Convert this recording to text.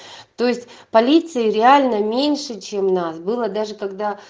то есть полиции реально меньше чем нас было даже когда